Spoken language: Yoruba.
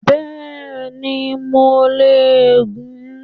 Bẹ́ẹ̀ni mo le è gun